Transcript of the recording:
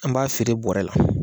An b'a feere bɔrɛ la.